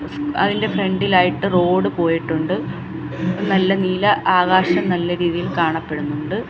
അതിൻ്റെ ഫ്രണ്ടിലായിട്ട് റോഡ് പോയിട്ടുണ്ട് നല്ല നീല ആകാശം നല്ല രീതിയിൽ കാണപ്പെടുന്നുണ്ട്.